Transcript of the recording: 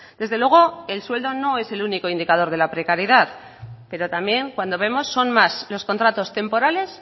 desde luego el sueldo no es el único indicador de la precariedad pero también cuando vemos son más los contratos temporales